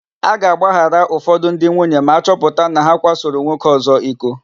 A ga-agbaghara ụfọdụ ndị nwunye ma a chọpụta na ha kwasoro nwoke ọ̀zọ́ iko.